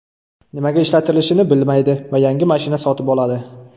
Nimaga ishlatishini bilmaydi va yangi mashina sotib oladi.